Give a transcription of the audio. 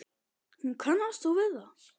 Hún kannast þó við það.